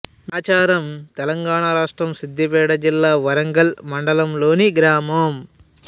నాచారం తెలంగాణ రాష్ట్రం సిద్ధిపేట జిల్లా వర్గల్ మండలంలోని గ్రామం